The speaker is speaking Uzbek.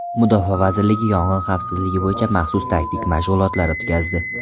Mudofaa vazirligi yong‘in xavfsizligi bo‘yicha maxsus taktik mashg‘ulotlar o‘tkazdi.